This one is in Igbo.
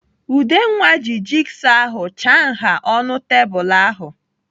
Udenwa ji jigsọ ahụ chaa nha ọnụ tebụl ahụ.